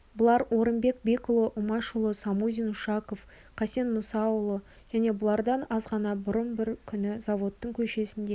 бұлар орынбек бекұлы умашұлы самузин ушаков қасен мұсаұлы және бұлардан азғана бұрын бір күні заводтың көшесінде